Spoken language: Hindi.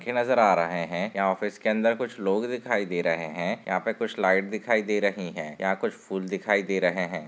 खे नजर आ रहा है यह ऑफस के कुछ लोग दिखाई दे रहे है यहा पर कुछ लाइट दिखाई दे रही है यहा कुछ फुल दिखाई दे रहे है